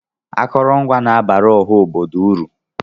Akụrụngwa na-abara ọha obodo uru.